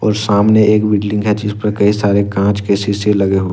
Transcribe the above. और सामने एक बिल्डिंग है जिस पर कई सारे कांच के शीशे लगे--